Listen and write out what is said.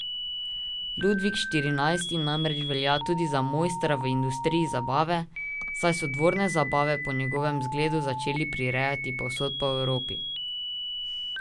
Ludvik štirinajsti namreč velja tudi za mojstra v industriji zabave, saj so dvorne zabave po njegovem zgledu začeli prirejati povsod po Evropi.